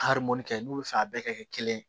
kɛ n'u bɛ fɛ a bɛɛ ka kɛ kelen ye